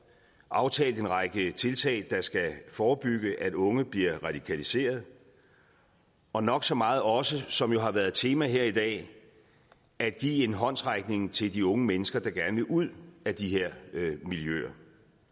aftalt en række tiltag der skal forebygge at unge bliver radikaliserede og nok så meget også det som jo har været et tema her i dag at give en håndsrækning til de unge mennesker der gerne vil ud af de her miljøer